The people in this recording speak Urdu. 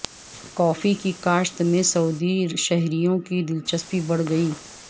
کافی کی کاشت میں سعودی شہریوں کی دلچسپی بڑھ گئی